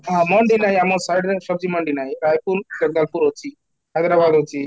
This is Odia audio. ମଣ୍ଡି ନାହିଁ ଆମ side ରେ ମଣ୍ଡି ନାହିଁ ରାଇପୁର ଜବଲପୁର ରେ ଅଛି, Hyderabad ଅଛି